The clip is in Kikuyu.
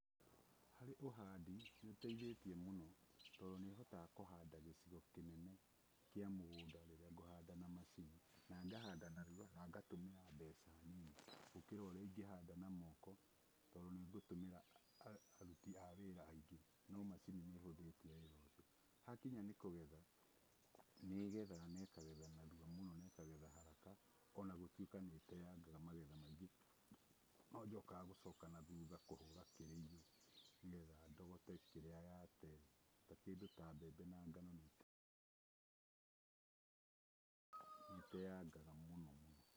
Harĩ ũhandi, nĩ ĩteithĩtie mũno tondũ nĩ ĩhotaga kũhanda gĩcigo kĩnene kĩa mũgũnda rĩrĩa ngũhanda na macini, na ngahanda narua, na ngatũmĩra mbeca nini gũkĩra ũrĩa ingĩhanda na moko tondũ nĩ ngũtũmĩra aruti a wĩra aingĩ no macini nĩ ĩhũthĩtie wĩra mũno. Hakinya nĩ kũgetha, nĩ ĩgethaga na ĩkagetha narua mũno na ĩkagetha haraka o na gũtuĩka nĩ ĩteyangaga magetha maingĩ no njokaga gũcoka na thutha kũhũra kĩrĩĩyũ, nĩgetha ndogote kĩrĩa yate, ta kĩndũ ta mbembe na ngano nĩ ĩteyangaga mũno.